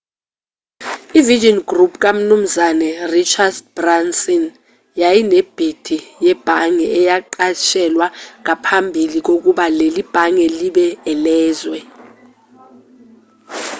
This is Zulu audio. i-virgin group kamnumzane richard branson yayinebhidi yebhange eyanqatshelwa ngaphambili kokuba leli bhange libe elezwe